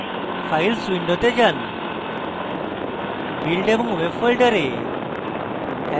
files window যান build এবং web ফোল্ডারে